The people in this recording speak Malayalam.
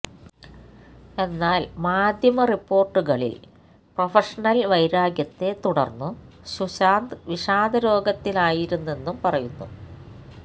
എന്നാല് മാധ്യമ റിപ്പോര്ട്ടുകളില് പ്രഫഷനല് വൈരാഗ്യത്തെ തുടര്ന്നു സുശാന്ത് വിഷാദരോഗത്തിലായിരുന്നെന്നും പറയുന്നു